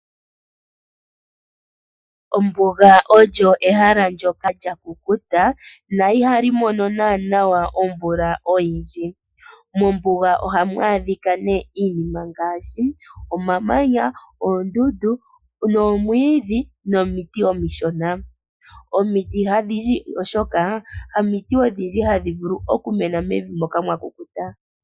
Ombuga olyo ehala ndyoka lyakukuta na ihali mono nanawa omvula oyindji mombuga ohamu adhika ne iinima ngaashi omamanya, oondundu noomwidhi nomiti omishona omiti hadhi ndji oshoka ha miti odhindji hadhi vulu okumena mevi moka mwa kukuta.